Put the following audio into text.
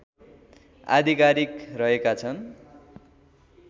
आधिकारिक रहेका छन्